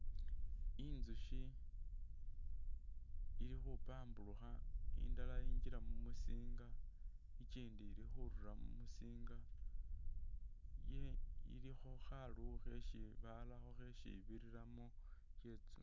Intsukhi ili khupamburukha indala yingila mumusinga ikyindi ili khurura mumusinga iliwo khalowo khesi barakho khesi ibiriramo